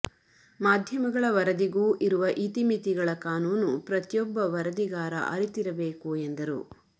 ಮಾಧ್ಯಮಗಳ ವರದಿಗೂ ಇರುವ ಇತಿಮಿತಿಗಳ ಕಾನೂನು ಪ್ರತಿಯೊಬ್ಬ ವರದಿಗಾರ ಅರಿತಿರಬೇಕು ಎಂದರು